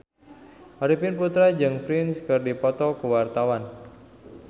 Arifin Putra jeung Prince keur dipoto ku wartawan